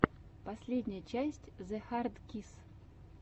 последняя часть зэхардкисс